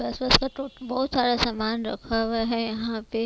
बहुत सारा सामान रखा हुआ है यहाँ पे--